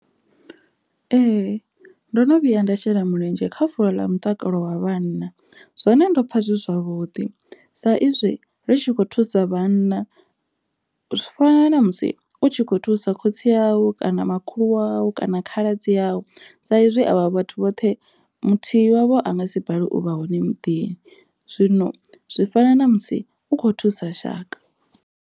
Ee, ndo no vhuya nda shela mulenzhe kha fulo ḽa mutakalo wa vhanna, zwone ndo pfa zwi zwavhuḓi sa izwi ri tshi khou thusa vhana u fana na musi u tshi kho thusa khotsi awu kana makhulu awu kana khaladzi awu sa izwi avha vhathu vhoṱhe muthihi wavho anga si bale u vha hone muḓini, zwino zwi fana na musi u khou thusa shaka.